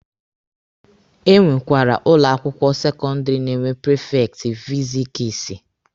Enwekwara ụlọ akwụkwọ sekọndịrị na-enwe prifekti fizikisi.